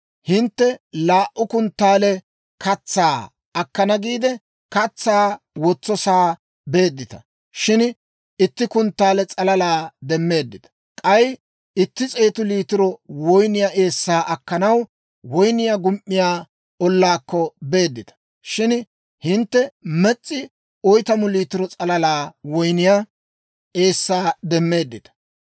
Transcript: hintte laa"u kunttaale katsaa akkana giide, katsaa wotsosaa beeddita; shin itti kunttaale s'alalaa demmeeddita. K'ay itti s'eetu liitiro woyniyaa eessaa akkanaw woyniyaa gum"iyaa ollaakko beeddita; shin hintte mes's'i oytamu liitiro s'alalaa woyniyaa eessaa demmeeddita.